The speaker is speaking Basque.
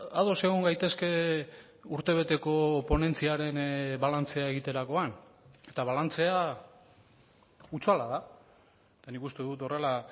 ados egon gaitezke urtebeteko ponentziaren balantzea egiterakoan eta balantzea hutsala da eta nik uste dut horrela